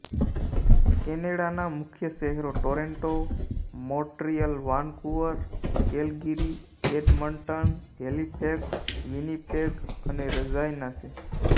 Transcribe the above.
કેનેડાના મુખ્ય શહેરો Toronto Montreal Vancouver Calgary Edmonton Halifax Winnipeg અને રજાઇના છે